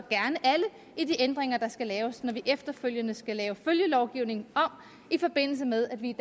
i de ændringer der skal laves når vi efterfølgende skal lave følgelovgivningen om i forbindelse med at vi i